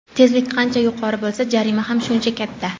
Tezlik qancha yuqori bo‘lsa, jarima ham shuncha katta.